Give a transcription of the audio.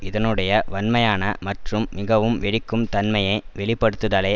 இதனுடைய வன்மையான மற்றும் மிகவும் வெடிக்கும் தன்மைய வெளிப்படுத்துதலை